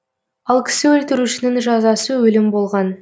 ал кісі өлтірушінің жазасы өлім болған